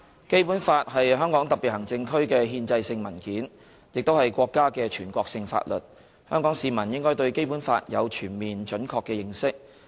《基本法》是香港特別行政區的憲制性文件，亦是國家的全國性法律，香港市民應該對《基本法》有全面、準確的認識。